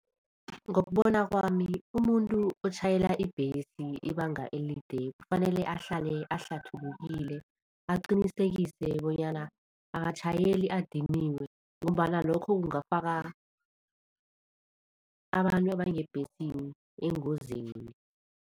Ngokubona kwami umuntu otjhayela ibhesi ibanga elide kufanele ahlale ahlathulukile, aqinisekise bonyana akatjhayeli adiniwe ngombana lokho kungafaka abantu abangebhesini engozini.